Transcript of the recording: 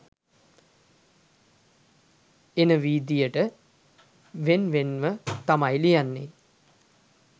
එන විදියට වෙන් වෙන්ව තමයි ලියන්නේ.